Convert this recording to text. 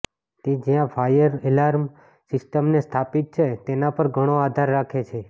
તે જ્યાં fire alarm સિસ્ટમને સ્થાપિત છે તેના પર ઘણો આધાર રાખે છે